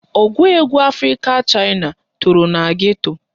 Ọgụ egwu Afrịka Chaịna toro na geto